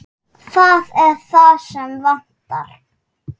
Það er það sem vantar.